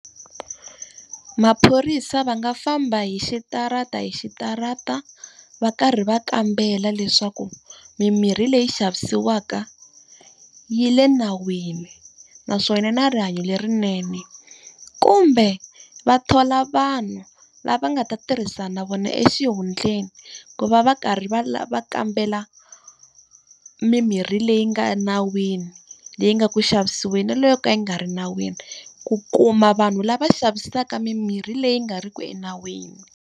Maphorisa va nga famba hi xitarata hi xitarata va karhi va kambela leswaku mimirhi leyi xavisiwaka yi le nawini, naswona yi na rihanyo lerinene. Kumbe va thola vanhu lava nga ta tirhisana na vona exihundleni, ku va va karhi va va kambela mimirhi leyi nga nawini leyi nga ku xavisiweni na leyo ka yi nga ri nawini, ku kuma vanhu lava xavisaka mimirhi leyi nga ri ki enawini.